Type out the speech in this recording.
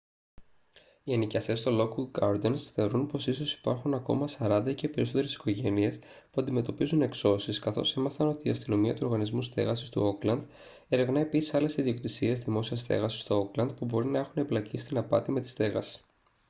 οι ενοικιαστές στο lockwood gardens θεωρούν πως ίσως υπάρχουν ακόμη 40 ή και περισσότερες οικογένειες που αντιμετωπίζουν εξώσεις καθώς έμαθαν ότι η αστυνομία του οργανισμού στέγασης του όκλαντ ερευνά επίσης άλλες ιδιοκτησίες δημόσιας στέγασης στο όκλαντ που μπορεί να έχουν εμπλακεί στην απάτη με τη στέγαση